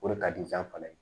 O de ka di fana ye